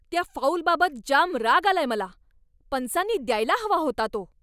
त्या फाऊलबाबत जाम राग आलाय मला! पंचांनी द्यायला हवा होता तो.